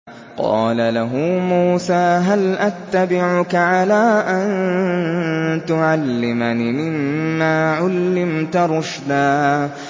قَالَ لَهُ مُوسَىٰ هَلْ أَتَّبِعُكَ عَلَىٰ أَن تُعَلِّمَنِ مِمَّا عُلِّمْتَ رُشْدًا